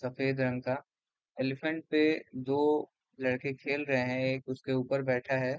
सफेद रंग का एलीफैंट पे दो लडके खेल रहे हैं और एक उसके उपर बैठा है |